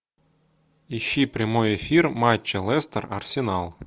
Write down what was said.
ищи прямой эфир матча лестер арсенал